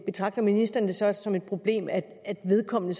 betragter ministeren det så også som et problem at vedkommende